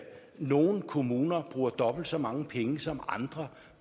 nogle kommuner bruger dobbelt så mange penge som andre